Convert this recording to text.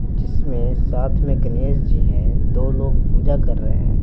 जिसमें साथ में गणेश जी हैं दो लोग पूजा कर रहे हैं।